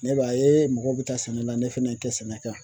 Ne b'a ye mɔgɔw bɛ taa sɛnɛ la ne fɛnɛ ye n kɛ sɛnɛ kan